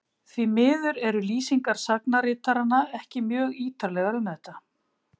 Því miður eru lýsingar sagnaritaranna ekki mjög ýtarlegar um þetta.